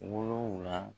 Wolonfila